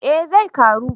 Eh zai karu